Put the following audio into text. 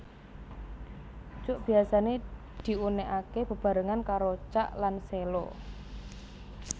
Cuk biasané diunèkaké bebarengan karo cak lan sèlo